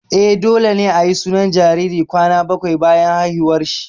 Eh, dole ne ayi sunan jariri kwana bakwai bayan haihuwar shi